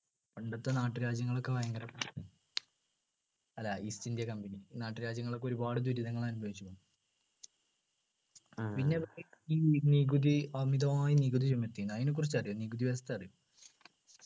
പണ്ടത്തെ നാട്ടുരാജ്യങ്ങൾ ഒക്കെ ഭയങ്കര അല്ല east ഇന്ത്യ company നാട്ടുരാജ്യങ്ങൾ ഒക്കെ ഒരുപാട് ദുരിതമനുഭവിച്ചിന് പി ന്നെ ഈ നികുതി അമിതമായ നികുതി ചുമത്തിനു അതിനെക്കുറിച്ച് അറിയോ നികുതി വ്യവസ്ഥ അറിയോ